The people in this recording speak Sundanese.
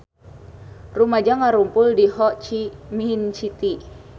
Rumaja ngarumpul di Ho Chi Minh City